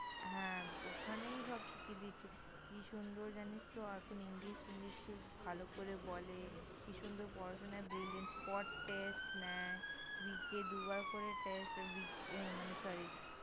হ্যাঁ! ওখানেই সব শিখিয়ে দিচ্ছে, কি সুন্দর জানিস তো এখন English খুব ভালো করে বলে, কি সুন্দর পড়াশোনায় Brilliant Word Test নেয়। Week -এ দুবার করে Test week -এ মানে Sorry.